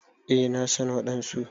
Eh na san wadansu.